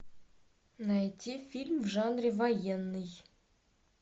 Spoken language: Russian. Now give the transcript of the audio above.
найти фильм в жанре военный